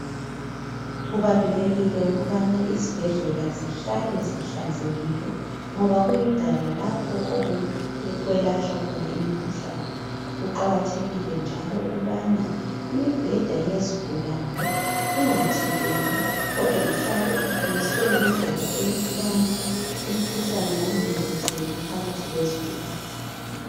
kubalulekile ukuba izibhedlela zihlale zihlanzekile ngoba kuyindawo lapho okwelapha khona imikhuhlane kuqhakathekile njalo ukubna imibhededa yezigulane inga thintani kodwa ihlale imiswe ngedlela tokubana imikhuhlane ingamemetheki in phakathi kwezigulane